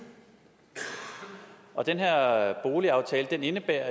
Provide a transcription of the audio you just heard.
og den her boligaftale indebærer